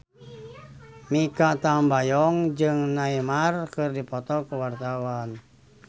Mikha Tambayong jeung Neymar keur dipoto ku wartawan